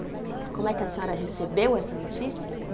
Como é que a senhora recebeu essa notícia?